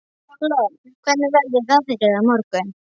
Lofn, hvernig verður veðrið á morgun?